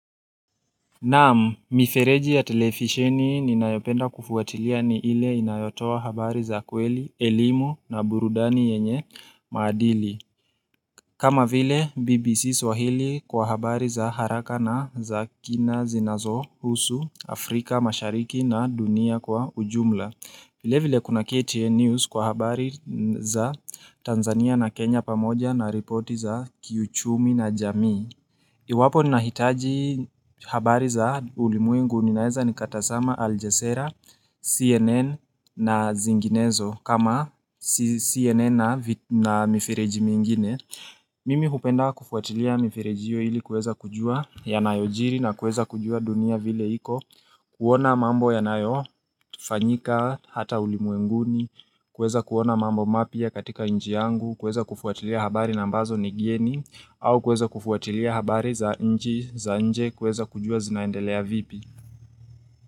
Namu, mifereji ya telefisheni ninayopenda kufuatilia ni ile inayotoa habari za kweli, elimu na burudani yenye maadili. Kama vile, BBC swahili kwa habari za haraka na za kina zinazo husu Afrika mashariki na dunia kwa ujumla. Vile vile kuna KTN News kwa habari za Tanzania na Kenya pamoja na ripoti za kiuchumi na jamii. Iwapo ni nahitaji habari za ulimwengu ninaeza ni katasama Aljesera, CNN na zinginezo kama CNN na mifireji mingine Mimi hupenda kufuatilia mifireji hiyo ili kueza kujua ya nayojiri na kueza kujua dunia vile hiko kuona mambo ya nayo, fanyika hata ulimwenguni, kueza kuona mambo mapia katika nchi yangu za nchi za nje kuweza kujua zinaendelea vipi.